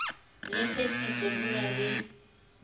le phethiso di na le